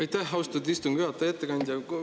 Aitäh, austatud istungi juhataja!